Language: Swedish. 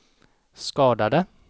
skadade